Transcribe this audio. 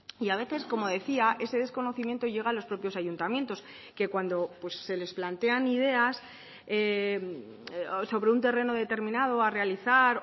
y a veces como decía ese desconocimiento llega a los propios ayuntamientos que cuando se les plantean ideas sobre un terreno determinado a realizar